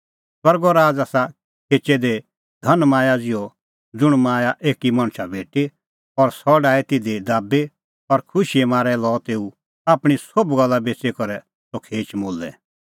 स्वर्गो राज़ आसा खेचै दाबी दी धनमाया ज़िहअ ज़ुंण माया एकी मणछा भेटी और सह डाही तिधी दाबी और खुशीए मारै लअ तेऊ आपणीं सोभ गल्ला बेच़ी करै सह खेच मोलै